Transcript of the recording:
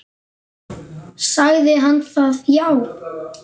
Sagði hann það já.